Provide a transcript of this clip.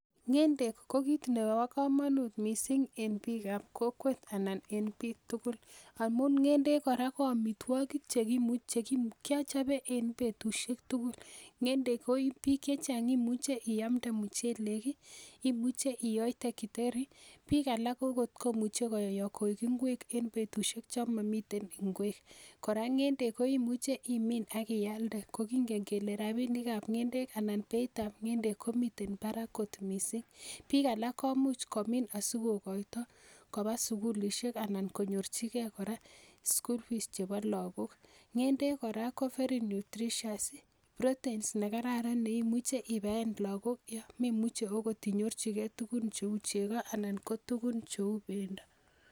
Ngendek ko kit en bikab kokwet anan en bik tugul. Amun ngendek ko amitwogik chekimuche kechob en betusiek tugul. Ngendek ko imuche iamdee muchelek, imuche iyotee githeri. Bik alak komuche koyoe koik ingwek en betusiek chon momi ingwek. Kora ngendek koimuche imin ak iladee, kokingeen kele rabinikab ngendek anan. beitab ngendek komiten barak kot missing. Bikab alak komuch komin asikokoito koba sukulisiek anan konyorchigei kora school fees chebo look. Ngendek kora ko very nutritious ,protein nekararan neimuche ibaen logook yon memuche okot inyorchigei tuguuk cheu chegoo. Anan ko tuguun cheu fruits.